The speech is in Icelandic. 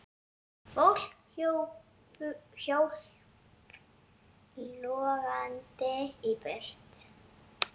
Fólk hljóp logandi í burtu.